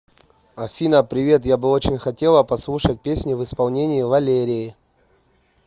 афина привет я бы очень хотела послушать песни в исполении валерии